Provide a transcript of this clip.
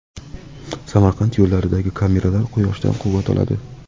Samarqand yo‘llaridagi kameralar quyoshdan quvvat oladi.